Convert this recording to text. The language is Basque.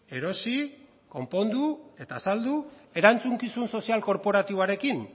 erosi konpondu eta saldu erantzukizun sozial korporatiboarekin